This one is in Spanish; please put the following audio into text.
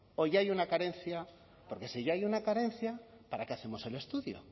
o ya hay una carencia porque si ya hay una carencia para qué hacemos el estudio